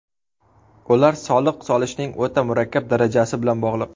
Ular soliq solishning o‘ta murakkab darajasi bilan bog‘liq.